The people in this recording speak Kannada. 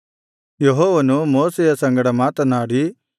ಯೆಹೋವನು ಮೋಶೆಯ ಸಂಗಡ ಮಾತನಾಡಿ